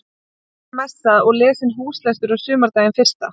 Lengi var messað og lesinn húslestur á sumardaginn fyrsta.